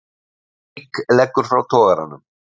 Reyk leggur frá togaranum